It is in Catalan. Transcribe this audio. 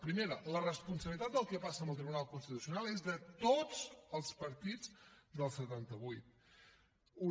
primera la responsabilitat del que passa amb el tribunal constitucional és de tots els partits del setanta vuit una